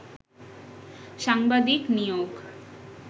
সাংবাদিক নিয়োগ